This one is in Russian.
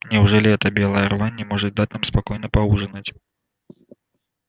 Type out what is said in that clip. неужели эта белая рвань не может дать нам спокойно поужинать